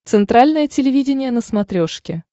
центральное телевидение на смотрешке